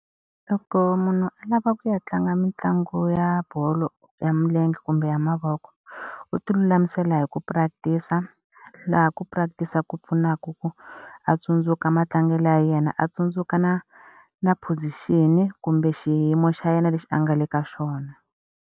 Loko munhu a lava ku ya tlanga mitlangu ya bolo ya milenge kumbe ya mavoko, u ti lulamisela hi ku practice-a. Laha ku practice-a ku pfunaka ku a tsundzuka matlangelo ya yena a tsundzuka na na position-i kumbe xiyimo xa yena lexi a nga le ka xona.